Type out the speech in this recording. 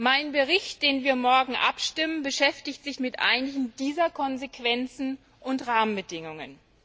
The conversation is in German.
Mein Bericht, über den wir morgen abstimmen, beschäftigt sich mit einigen dieser Konsequenzen und Rahmenbedingungen.